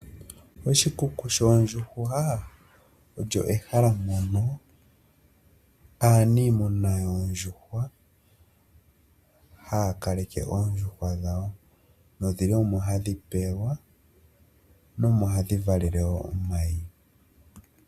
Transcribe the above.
Oshikuku shoondjuhwa olyo ehala mono aaniimuna yoondjuhwa haya kaleke oondjuhwa dhawo nodhi li omo hadhi pewelwa iikulya nokuvalela omayi.